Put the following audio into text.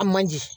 A man di